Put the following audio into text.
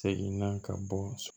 Segin na ka bɔ so